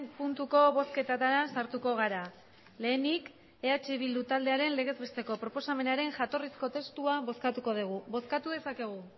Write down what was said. puntuko bozketetara sartuko gara lehenik eh bildu taldearen legez besteko proposamenaren jatorrizko testua bozkatuko dugu bozkatu dezakegu